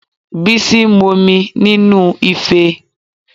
Bísí ń mo mu nínúu ife